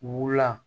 Wula